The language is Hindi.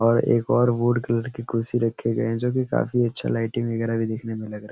और एक और वुड कलर की कुर्सी रखी गए हैं जो कि काफी अच्छा लाइटिंग वगैरा भी देखने में लग रहा है।